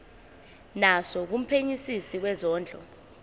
naso kumphenyisisi wezondlo